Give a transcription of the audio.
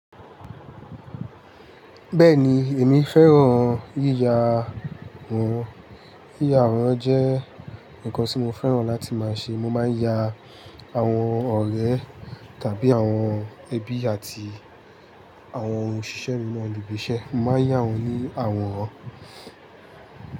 Bẹ́ẹ̀ni, èmi fẹ́ràn yíya woran Yíya àwọ̀n jẹ́ nǹkan tí mo fẹ́ràn láti máa ṣe. Mo máa ń ya àwọn ọ̀rẹ́ tàbí àwọn ẹbí àti àwọn òṣìṣẹ́ mi mọ́ ibi iṣẹ́. Mo máa ń yá wọ́n ní àwọ̀ran.